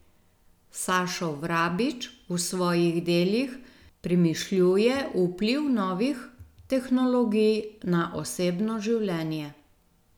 Sašo Vrabič v svojih delih premišljuje vpliv novih tehnologij na osebno življenje.